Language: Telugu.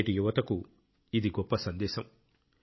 నేటి యువతకు ఇది గొప్ప సందేశం